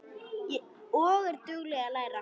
Og er dugleg að læra.